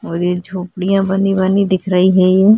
यह झोपड़ियां बनी-बनी दिख रहीं है।